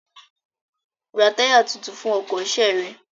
Ra táyà tuntun fún ọkọ̀ ṣe rẹ!